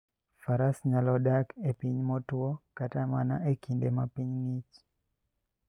Faras nyalo dak e piny motwo kata mana e kinde ma piny ng'ich.